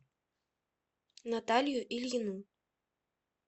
наталью ильину